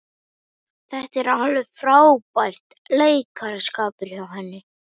Þetta var alveg frábær leikaraskapur hjá henni.